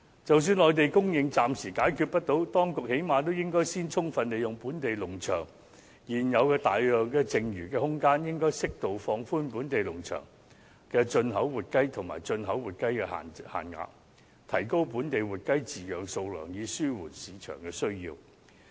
即使內地供應問題暫時未能解決，當局最低限度也應充分利用本地農場現有的大量剩餘空間，適度放寬本地農場及進口活雞的限額，提高本地活雞的飼養數量，以紓緩市場的需要。